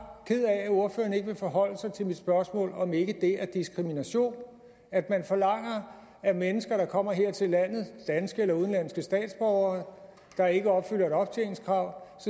ked af at ordføreren ikke vil forholde sig til mit spørgsmål nemlig om det ikke er diskrimination at man forlanger af mennesker der kommer her til landet danske eller udenlandske statsborgere og ikke opfylder et optjeningskrav